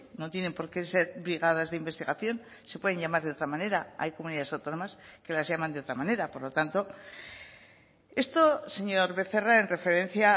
no tienen por qué ser brigadas de investigación se pueden llamar de otra manera hay comunidades autónomas que las llaman de otra manera por lo tanto esto señor becerra en referencia